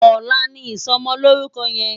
Òlà ni isòmòlórúkò yèn